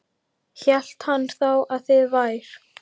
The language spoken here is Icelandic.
Hélt hann þá að þið vær